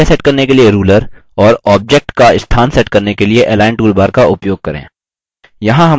हाशिया margins set करने के लिए ruler और objects की स्थान set करने के लिए align toolbar का उपयोग करें